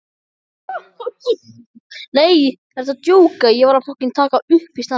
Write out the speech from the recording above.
En stundum ræðum við málin meira svona almennt.